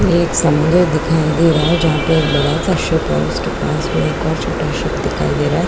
ये एक समुन्दर दिखाई दे रहा है जहां पे एक बड़ा सा शीप है और उसके पास में छोटा शीप दिखाई दे रहा है।